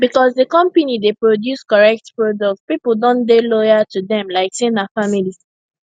because the company dey produce correct product people don dey loyal to them like say na family